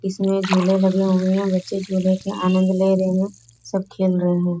इसमें झूले लगे हुए है बच्चे झूले के आनंद ले रहे हैं सब खेल रहे हैं |